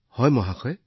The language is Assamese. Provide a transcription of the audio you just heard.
হয় মহোদয়